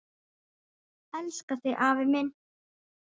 Elska þig afi minn.